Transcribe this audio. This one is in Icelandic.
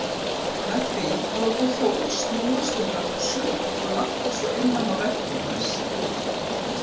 Með því að láta hjól snúast um öxul og labba svo innan á veggjum þess.